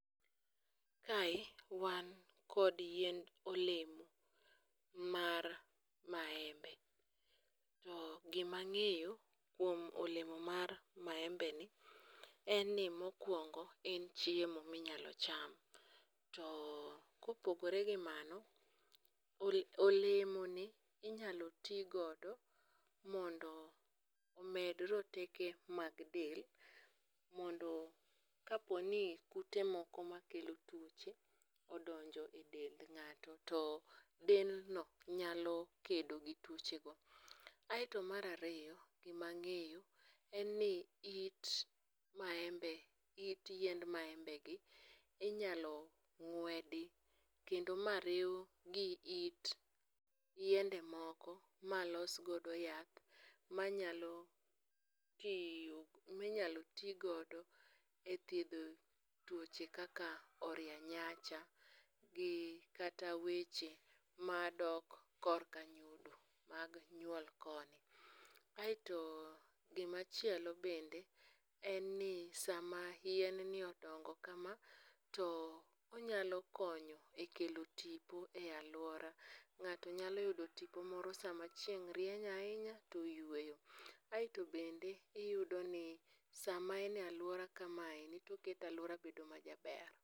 Kae wan kod yiend olemo mar maembe. To gima ang'eyo kuom olemo mar maembeni en ni mokwongo en chiemo minyalo cham. To kopogore gi mano, olemoni inyalo ti godo mondo omed roteke mag del, mondo kaponi kute moko makelo tuoche odonjo e dend ng'ato to dendno nyalo kedo gi tuochego. Aeto mar ariyo mang'eyo en ni it maembe, it yiend maembegi inyalo ng'wedi kendo mariw gi it yiende moko malos godo yath manyalo tiyo, minyalo tigodo e thiedho tuoche kaka orienyanja, gi kata weche madok korka mag nyuol koni. Aeto gimachielo bende en ni sama yienni odongo kama, to onyalo konyo e kelo tipo e alwora, nga'to nyalo yudo tipo moro sama chieng' rieny ahinya to oyweyo. Aeto bende iyudoni sama en e alwora kamae to oketo alwora bedo majaber.